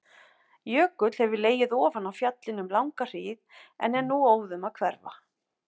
Jökull hefur legið ofan á fjallinu um langa hríð en er nú óðum að hverfa.